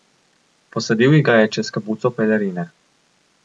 Posadil ji ga je čez kapuco pelerine.